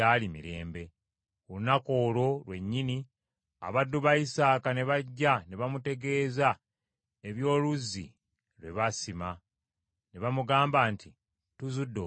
Ku lunaku olwo lwennyini, abaddu ba Isaaka ne bajja ne bamutegeeza eby’oluzzi lwe baasima, ne bamugamba nti, “Tuzudde amazzi.”